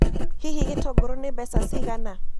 Hihi gĩtũngũrũ nĩ mbeca cigana?